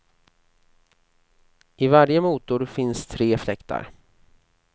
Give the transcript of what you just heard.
I varje motor finns tre fläktar.